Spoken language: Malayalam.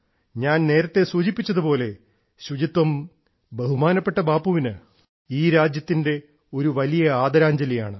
ഞാൻ നേരത്തെ സൂചിപ്പിച്ചതുപോലെ ശുചിത്വം ബഹുമാനപ്പെട്ട ബാപ്പുവിന് ഈ രാജ്യത്തിന്റെ ഒരു വലിയ ആദരാഞ്ജലിയാണ്